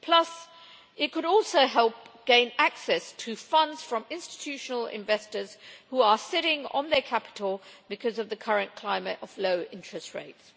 Plus, it could also help in terms of gaining access to funds from institutional investors who are sitting on their capital because of the current climate of low interest rates.